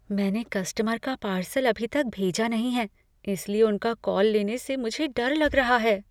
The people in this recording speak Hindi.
मैंने कस्टमर का पार्सल अभी तक भेजा नहीं है इसलिए उनका कॉल लेने से मुझे डर लग रहा है।